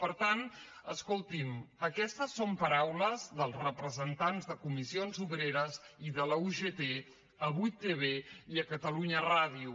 per tant escolti’m aquestes són paraules dels representants de comissions obreres i de la ugt a 8tv i a catalunya ràdio